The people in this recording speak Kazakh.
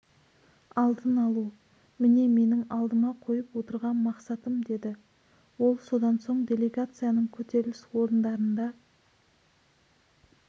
алдын алу міне менің алдыма қойып отырған мақсатым деді ол содан соң делегацияның көтеріліс орындарында